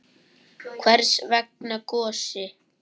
Hvers vegna Gosi?